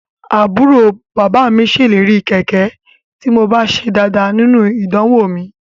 Àbúrò bàbá mi ṣèlérí kẹ̀kẹ́ tí mo bá ṣe dáadáa nínú idanwò mi